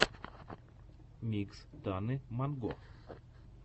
микс таны монго